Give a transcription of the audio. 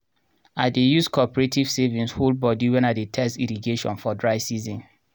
i dey use coperative savings hold bodi wen i dey test irrigation for dry season.